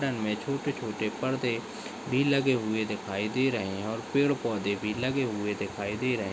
में छोटे -छोटे पर्दे भी लगे हुए दिखाई दे रहे है और पेड़ -पौधे भी लगे हुए दिखाई दे रहे हैं।